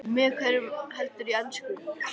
Ónefndur maður: Með hverjum heldurðu í enska?